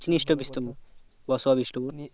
চিনিস তো বিষ্টপুর বসুয়া বিষ্টপুর